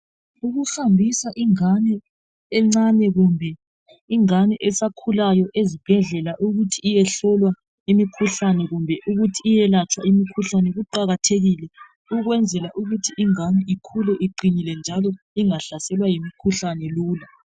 Ukuhambisa ingane encane kumbe ingane esakhulayo ezibhedlela ukuthi iyehlolwa imikhuhlane kumbe ukuthi iyelatshwa imikhuhlane kuqakathekile ukwenzela ukuthi ingane ikhule iqinile njalo ingahlaselwa yimkhuhlane lula.